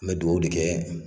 Me duwawu de kɛ